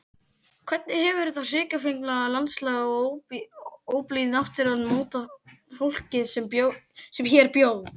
Hvernig hefur þetta hrikafengna landslag og óblíð náttúran mótað fólkið sem hér bjó?